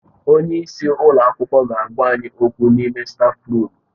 Onye isi ụlọ akwụkwọ ga-agwa anyị okwu n'ime stáfruum.